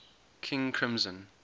king crimson